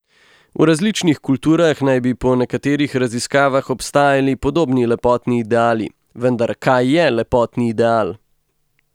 V različnih kulturah naj bi po nekaterih raziskavah obstajali podobni lepotni ideali, vendar kaj je lepotni ideal?